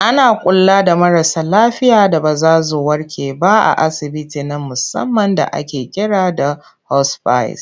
Ana kula da marasa lafiya da ba za zu warke ba a asibiti na musamman da ake kira da 'hospice'.